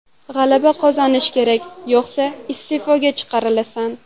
G‘alaba qozonish kerak, yo‘qsa iste’foga chiqarilasan.